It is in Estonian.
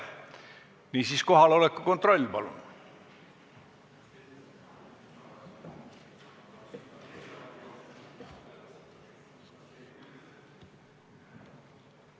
Niisiis, kohaloleku kontroll, palun!